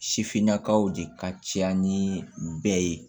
Sifinnakaw de ka caya ni bɛɛ ye